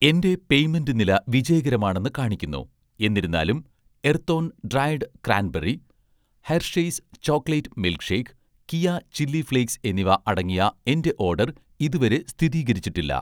എന്‍റെ പേയ്‌മെന്റ് നില വിജയകരമാണെന്ന് കാണിക്കുന്നു, എന്നിരുന്നാലും 'എർത്തോൺ' dried cranberry, 'Hershey's' chocolate milk shake, 'Keya' chilli flakes എന്നിവ അടങ്ങിയ എന്‍റെ ഓഡർ ഇതുവരെ സ്ഥിതീകരിച്ചിട്ടില്ല.